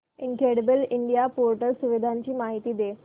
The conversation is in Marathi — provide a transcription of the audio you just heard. इनक्रेडिबल इंडिया पोर्टल सुविधांची माहिती दे